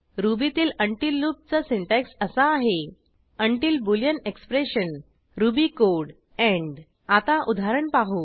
रुबीतील until लूपचा syntax असा आहे until boolean expression Ruby code end आता उदाहरण पाहू